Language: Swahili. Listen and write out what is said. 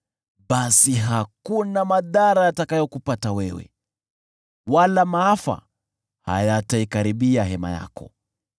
basi hakuna madhara yatakayokupata wewe, hakuna maafa yataikaribia hema yako.